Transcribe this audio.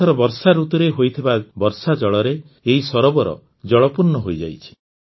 ଏଥର ବର୍ଷାଋତୁରେ ହୋଇଥିବା ବର୍ଷାଜଳରେ ଏହି ସରୋବର ଜଳପୂର୍ଣ୍ଣ ହୋଇଯାଇଛି